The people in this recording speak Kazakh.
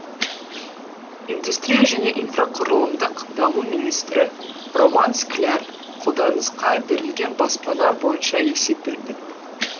индустрия және инфрақұрылымдық даму министрі роман скляр қолданысқа берілген баспана бойынша есеп берді